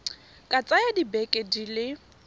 ka tsaya dibeke di le